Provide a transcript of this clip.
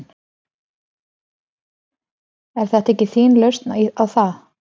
Er þetta ekki þín lausn á það?